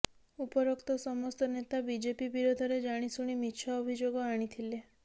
ଉପରୋକ୍ତ ସମସ୍ତ ନେତା ବିଜେପି ବିରୋଧରେ ଜାଣିଶୁଣି ମିଛ ଅଭିଯୋଗ ଆଣିଥିଲେ